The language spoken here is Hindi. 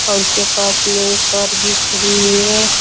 और उसके पास में एक कार भी खड़ी हुई है।